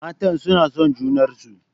Matan suna son junarsu.